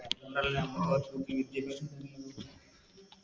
അതുകൊണ്ടല്ലേ നമ്മള് വിദ്യാഭ്യാസം